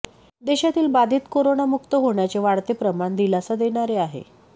देशातील बाधित करोनामुक्त होण्याचे वाढते प्रमाण दिलासा देणारे आहे